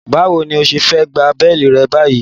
Báwo ní ẹ ṣe fẹ́ gba béélì rẹ̀ báyìí?